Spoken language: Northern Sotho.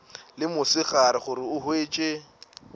le mosegare gore o hwetše